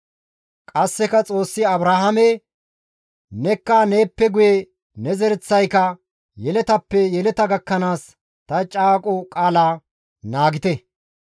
Qasseka Xoossi Abrahaame, «Nekka neeppe guye ne zereththayka, yeletappe yeleta gakkanaas ta caaqo qaalaa naagite.